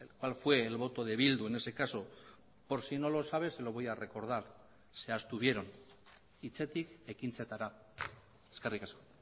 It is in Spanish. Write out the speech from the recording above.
cual fue el voto de bildu en ese caso por si no lo sabe se lo voy a recordar se abstuvieron hitzetik ekintzetara eskerrik asko